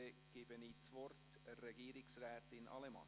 Ich erteilte das Wort Regierungsrätin Allemann.